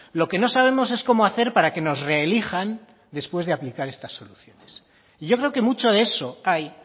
lo que no sabemos es cómo hacer para que nos reelijan después de aplicar esta soluciones y yo creo que mucho de eso hay